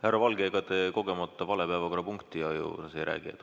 Härra Valge, ega te kogemata vale päevakorrapunkti kohta ei räägi?